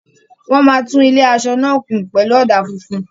Wọ́n máa tún ilé-aṣọ náà kùn pẹ̀lú ọ̀dà funfun.